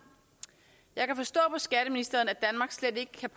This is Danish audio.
jeg kan forstå på skatteministeren at at